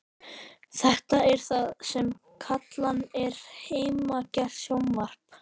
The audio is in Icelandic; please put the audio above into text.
Þetta er það sem kallað er heimagert sjónvarp.